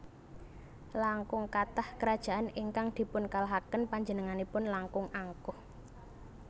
Langkung kathah krajaan ingkang dipunkalahaken panjenenganipun langkung angkuh